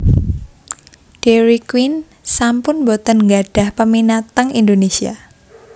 Dairy Queen sampun mboten nggadhah peminat teng Indonesia